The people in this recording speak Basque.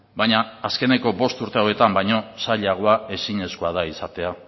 baina azkeneko bost urte hauetan baino zailagoa ezinezkoa da izatea